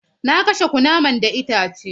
Na kashe kunaman da itace.